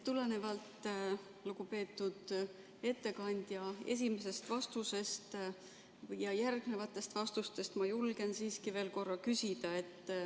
Tulenevalt lugupeetud ettekandja esimesest vastusest ja järgnevatest vastustest ma julgen siiski veel korra küsida.